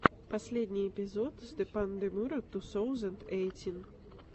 последний эпизод степандемура ту соузэнд эйтин